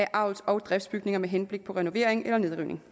avls og driftsbygninger med henblik på renovering eller nedrivning